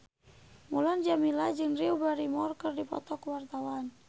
Mulan Jameela jeung Drew Barrymore keur dipoto ku wartawan